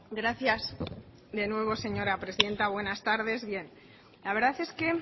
gracias de nuevo señora presidenta buenas tardes bien la verdad es que